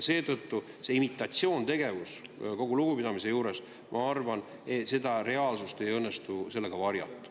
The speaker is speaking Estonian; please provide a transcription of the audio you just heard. Seetõttu see imitatsioontegevus – kogu lugupidamise juures, ma arvan, et seda reaalsust ei õnnestu teil varjata.